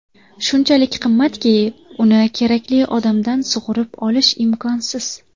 Shunchalik qimmatki, uni kerakli odamdan sug‘urib olish imkonsiz.